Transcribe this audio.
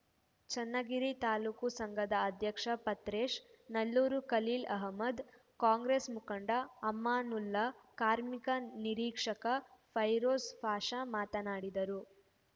ಚನ್ನಗಿರಿ ತಾಲೂಕು ಸಂಘದ ಅಧ್ಯಕ್ಷ ಪತ್ರೇಶ್‌ ನಲ್ಲೂರು ಖಲೀಲ್‌ ಅಹಮದ್‌ ಕಾಂಗ್ರೇಸ್‌ ಮುಖಂಡ ಅಮಾನುಲ್ಲಾ ಕಾರ್ಮಿಕ ನಿರೀಕ್ಷಕ ಫೈರೋಜ್‌ ಪಾಷಾ ಮಾತನಾಡಿದರು